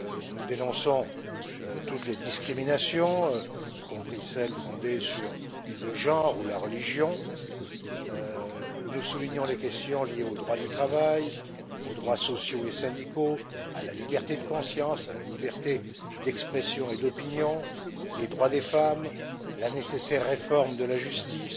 Nous dénonçons toutes les discriminations y compris celles fondées sur le genre ou la religion nous soulignons les questions liées au droit du travail, aux droits sociaux et syndicaux, à la liberté de conscience, à la liberté d'expression et d'opinion, les droits des femmes, la nécessaire réforme de la justice,